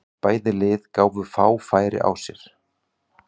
Bæði lið gáfu fá færi á sér.